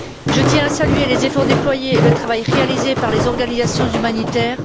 Je tiens à saluer les efforts déployés et le travail réalisé par les organisations humanitaires.